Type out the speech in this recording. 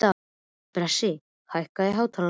Bresi, hækkaðu í hátalaranum.